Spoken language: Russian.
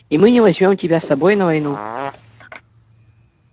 и мы не возьмём тебя с собой на войну